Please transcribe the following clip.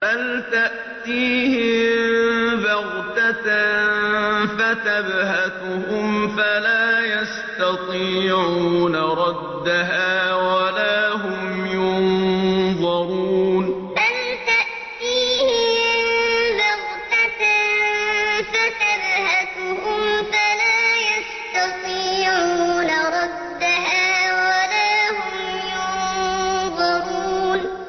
بَلْ تَأْتِيهِم بَغْتَةً فَتَبْهَتُهُمْ فَلَا يَسْتَطِيعُونَ رَدَّهَا وَلَا هُمْ يُنظَرُونَ بَلْ تَأْتِيهِم بَغْتَةً فَتَبْهَتُهُمْ فَلَا يَسْتَطِيعُونَ رَدَّهَا وَلَا هُمْ يُنظَرُونَ